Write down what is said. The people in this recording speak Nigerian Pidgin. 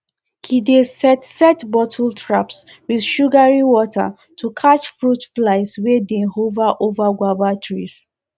he dey set set bottle traps with sugary water to catch fruit flies wey dey hover over guava trees